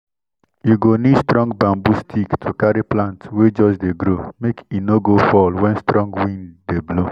you go need strong bamboo stick to carry plant wey just dey grow make e no go fall when strong wind dey blow.